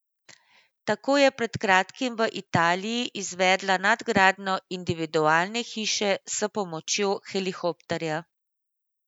Tako je pred kratkim v Italiji izvedla nadgradnjo individualne hiše s pomočjo helikopterja.